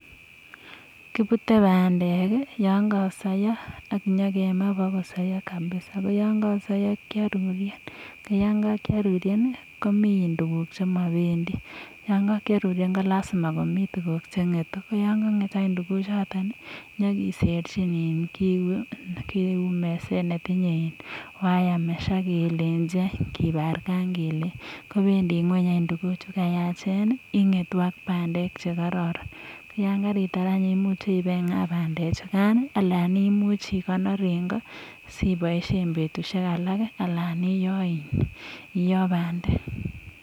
kipute bandek yakakosaiswa kapisa ak yakakosaiya kearuren ko mi tuguk che mabendi. ko yakiaruren che keserchin meset ne tnye wiremesh akibarkan kobendi ngony tuguk chemakararan . ko yakaitar ibingaa bandechuta ana ikonor eng goo siboishien betushek chuto ana ioo bandek